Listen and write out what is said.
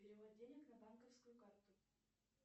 перевод денег на банковскую карту